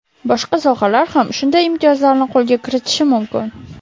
Boshqa sohalar ham shunday imtiyozlarni qo‘lga kiritishi mumkin.